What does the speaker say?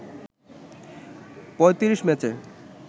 ৩৫ ম্যাচে